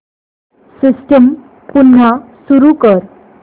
system पुन्हा सुरू कर